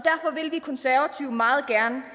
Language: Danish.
vi konservative meget gerne